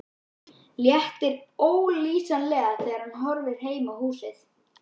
Léttir ólýsanlega þegar hann horfir heim að húsinu.